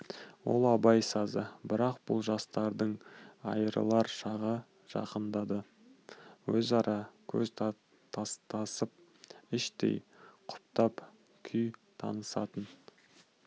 ол абай сазы бірақ бұл жастардың айырылар шағы жақындады өзара көз тастасып іштей құптап күй танысатын